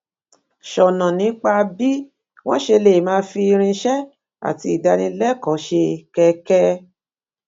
sọnà nípa bí wọn ṣe lè máa fi irinṣẹ àti ìdánilẹkọọ ṣe kẹkẹ